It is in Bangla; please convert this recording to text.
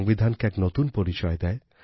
সংবিধানকে এক নতুন পরিচয় দেয়